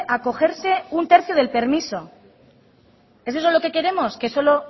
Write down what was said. a cogerse un tercio del permiso es eso lo que queremos que solo